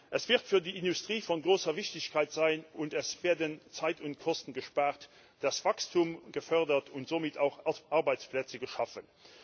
Es wird für die Industrie von großer Wichtigkeit sein, und es werden Zeit und Kosten gespart, das Wachstum wird gefördert und somit werden auch Arbeitsplätze geschaffen.